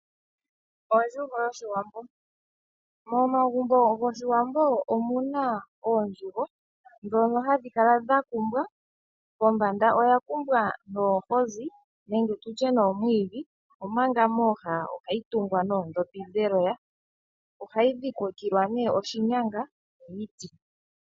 Ondjugo yoshiwambo momagumbo goshiwambo omuna oondjugo dhono hadhikala dhakumbwa pombanda oyakumbwa noohizi nenge tutye omwiidhi omanga mooha ohandhi tungwa neendhopi dheloya. Ohayi dhikilwa nee oshinyanga niiti.